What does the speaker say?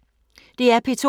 DR P2